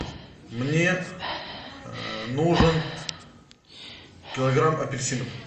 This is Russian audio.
мне нужен килограмм апельсинов